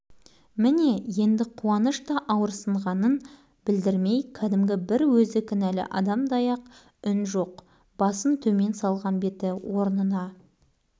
кімде-кім оған қарап бас көтеріп көрсін дереу адыраңдап шыға келеді балалар оның мұнысына түгел көнген екі